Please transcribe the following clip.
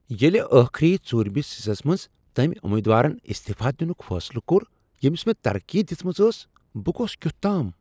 ییٚلہ ٲخری ژوٗرمس حصس منٛز تٔمۍ امیدوارن استعفا دنک فیصلہٕ کوٚر ییٚمس مےٚ ترقی دژمٕژ ٲس، بہٕ گوس کیتھ تام۔